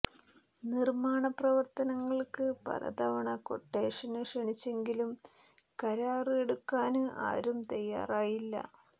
നിര്മാണ പ്രവര്ത്തനങ്ങള്ക്ക് പല തവണ ക്വട്ടേഷന് ക്ഷണിച്ചെങ്കിലും കരാര് എടുക്കാന് ആരും തയാറായില്ല